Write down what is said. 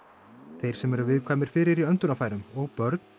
þeir sem eru viðkvæmir fyrir í öndunarfærum og börn